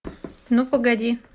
ну погоди